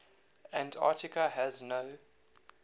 antarctica has no